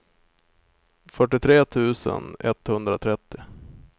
fyrtiotre tusen etthundratrettio